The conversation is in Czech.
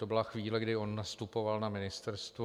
To byla chvíle, kdy on nastupoval na ministerstvo.